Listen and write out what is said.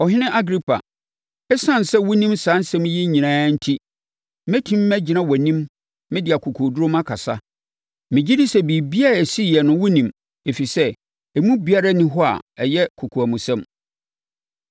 Ɔhene Agripa, ɛsiane sɛ wonim saa nsɛm yi nyinaa enti, mɛtumi magyina wʼanim mede akokoɔduru makasa. Megye di sɛ biribiara a ɛsiiɛ no wonim, ɛfiri sɛ, emu biara nni hɔ a ɛyɛ kokoamsɛm.